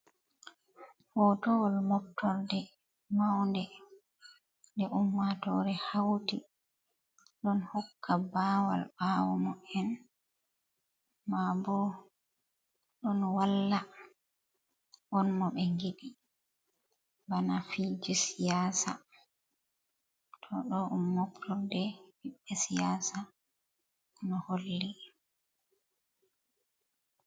Hotowol moftorde maunde nde ummatore hauti ɗon hokka bawal bawo mo en ma bo ɗon walla on mo ɓe ngidi bana fi ji siyasa, to ɗo ɗom moftorde fi siyasa no holli.